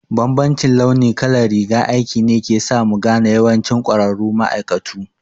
Bambancin launi kalar rigar aiki ne ke sa mu gane yawancin ƙwararru ma'aikatu